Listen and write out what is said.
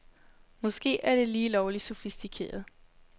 Måske er det lige lovligt sofistikeret.